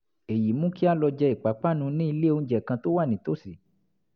èyí mú kí a lọ jẹ ìpápánu ní ilé-oúnjẹ kan tó wà nítòsí